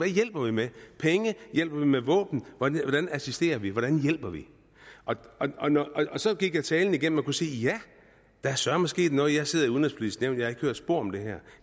hjælper vi med penge hjælper vi med våben hvordan assisterer vi hvordan hjælper vi så gik jeg talen igennem og kunne sige ja der er søreme sket noget jeg sidder i udenrigspolitisk nævn og ikke hørt spor om det her